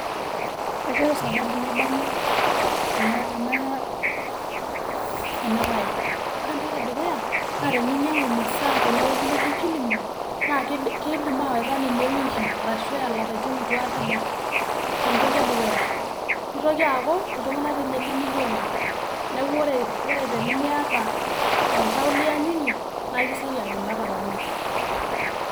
Kaishoru sababu naibarie ena ena enabaye, ore entoki e dukuya naa teninyang'u masaa tene woji neji kilimall, naa kidi kiidim awaita ninye e wiki arashu eya lapaitin itu aikata ebau, ina entoki e dukuya. Nitoki aaku iltung'anak tiinye lemiyiolo, neeku kore tenimiata oltau liyanyunye naae kisioki agila tau oleng'.